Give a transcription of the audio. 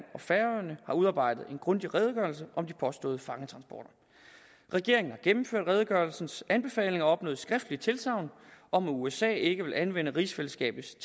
og færøerne har udarbejdet en grundig redegørelse om de påståede fangetransporter regeringen har gennemført redegørelsens anbefalinger og opnået skriftligt tilsagn om at usa ikke vil anvende rigsfællesskabets